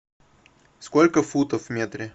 сколько футов в метре